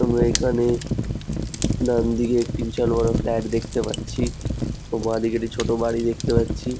আমরা এখানে ডান দিকে একটি বিশাল বড়ো ফ্ল্যাট দেখতে পাচ্ছি ও বাঁ দিকে একটি ছোট বাড়ি দেখতে পাচ্ছি।